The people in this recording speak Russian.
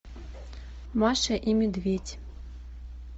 маша и медведь